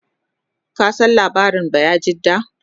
ka San labarin bayajidda?